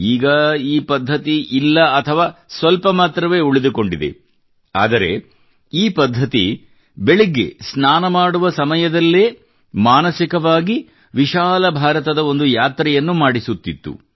ಈಗ ಈ ಪದ್ಧತಿ ಇಲ್ಲ ಅಥವಾ ಸ್ವಲ್ಪ ಮಾತ್ರವೇ ಉಳಿದುಕೊಂಡಿದೆ ಆದರೆ ಈ ಪದ್ಧತಿಯು ಬೆಳಗ್ಗೆ ಸ್ನಾನ ಮಾಡುವ ಸಮಯದಲ್ಲೇ ಮಾನಸಿಕವಾಗಿ ವಿಶಾಲ ಭಾರತದ ಒಂದು ಯಾತ್ರೆಯನ್ನು ಮಾಡಿಸುತ್ತಿತ್ತು